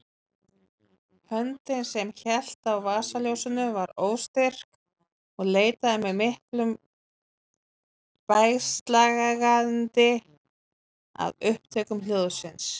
Höndin sem hélt á vasaljósinu var óstyrk og leitaði með miklum bægslagangi að upptökum hljóðsins.